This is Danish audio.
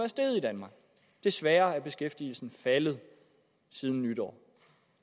steget i danmark desværre er beskæftigelsen faldet siden nytår